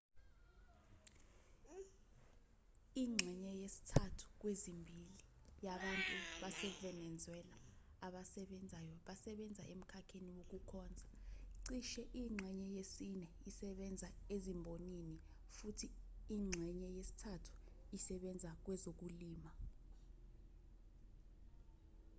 ingxenye yesithathu kwezimbili yabantu basevenezuela abasebenzayo basebenza emkhakheni wokukhonza cishe ingxenye yesine isebenza ezimbonini futhi ingxenye yesithathu isebenza kwezokulima